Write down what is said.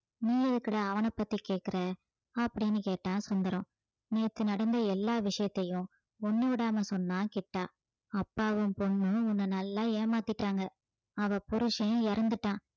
நீ எதுக்குடா அவன பத்தி கேட்கிற அப்படின்னு கேட்டான் சுந்தரம் நேத்து நடந்த எல்லா விஷயத்தையும் ஒண்ணு விடாம சொன்னான் கிட்டா அப்பாவும் பொண்ணும் உன்னை நல்லா ஏமாத்திட்டாங்க அவள் புருசன் இறந்துட்டான்